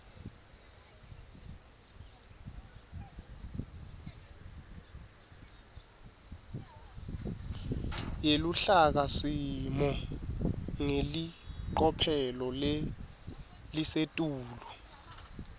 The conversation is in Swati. yeluhlakasimo ngelicophelo lelisetulu